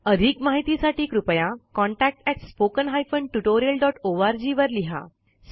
अधिक माहितीसाठी कृपया contactspoken tutorialorg वर लिहा